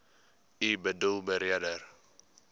u boedel beredder